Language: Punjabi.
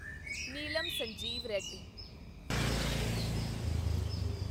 ਨੀਲਮ ਸੰਜੀਵ ਰੈਡੀ